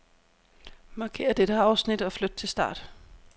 Markér dette afsnit og flyt til start.